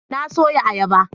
Na soya ayaba